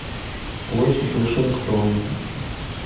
площадь вашингтона